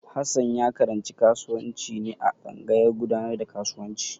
Hassan ya karanci kasuwanci ne a tsangayar gudanar da kasuwanci.